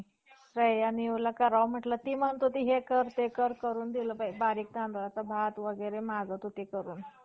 खाली उतरला आणि त्याचे तो पर्वत आपल्या पाठीवर घेऊन अं म्हणजे पाठीशी लावून अथवा पाठीमागे टाकून कश्यपाच्या राज्यातील क्षेत्रियास,